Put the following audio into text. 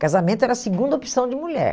Casamento era a segunda opção de mulher.